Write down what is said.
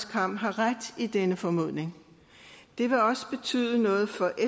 kamm har ret i denne formodning det vil også betyde noget for